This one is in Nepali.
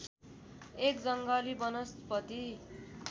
एक जङ्गली वनस्पति